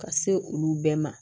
Ka se olu bɛɛ ma